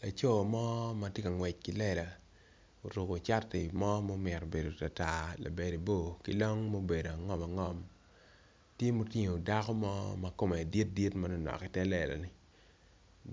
Laco mo matye ka ngwec ki lela oruko cati mo momito bedo tartar labade bor kilong ma obedo angom angom tye ma otingo dako makome dit dit manonok iter lela ni